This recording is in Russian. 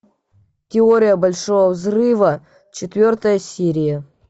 теория большого взрыва четвертая серия